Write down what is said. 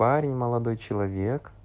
парень молодой человек